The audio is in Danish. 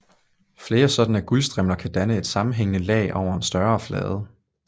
Flere sådanne guldstrimler kan danne et sammenhængende lag over en større flade